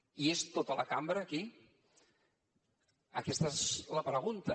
hi és tota la cambra aquí aquesta és la pregunta